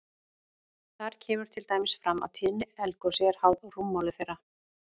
Þar kemur til dæmis fram að tíðni eldgosi er háð rúmmáli þeirra.